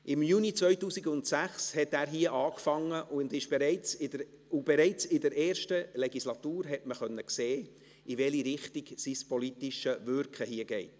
Im Juni 2006 hat er hier begonnen, und bereits in der ersten Legislatur konnte man sehen, in welche Richtung sein politisches Wirken hier geht.